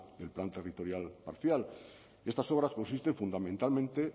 del plan territorial parcial estas obras consisten fundamentalmente